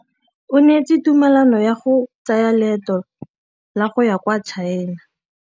O neetswe tumalanô ya go tsaya loetô la go ya kwa China.